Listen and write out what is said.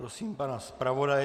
Prosím pana zpravodaje.